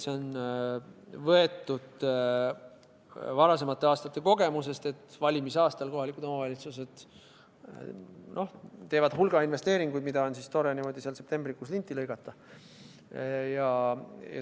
See on võetud varasemate aastate kogemusest, et valimisaastal kohalikud omavalitsused teevad hulga investeeringuid ja on tore niimoodi seal septembrikuus linti lõigata.